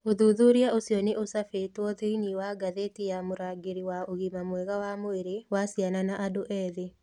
Ũthuthuria ũcio nĩ ũcabĩtwo thĩinĩ wa ngathĩti ya Mũrangĩri wa ũgima mwega wa mwĩrĩ wa ciana na andũ ethĩ.